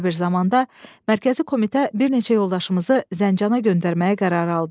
Belə bir zamanda mərkəzi komitə bir neçə yoldaşımızı Zəncana göndərməyə qərar aldı.